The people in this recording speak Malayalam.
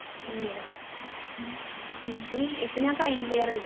ഇനിയൊ ഇനി ഇപ്പൊ ഞാൻ final year അല്ലെ